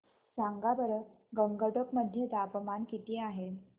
सांगा बरं गंगटोक मध्ये तापमान किती आहे